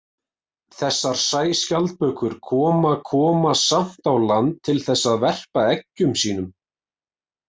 Þessar sæskjaldbökur koma koma samt á land til þess að verpa eggjum sínum.